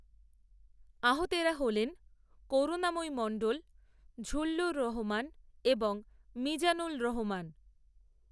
আহতেরা হলেন করুণাময়ী মণ্ডল, ঝূল্লুর রহমান, এবং মিজানুল রহমান